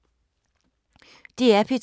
DR P2